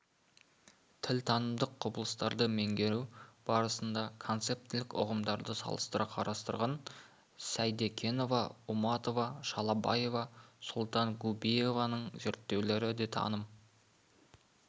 тілтанымдық құбылыстарды меңгеру барысында концептілік ұғымдарды салыстыра қарастырған сейдекенова уматова шалабаева султангубиеваның зерттеулері де таным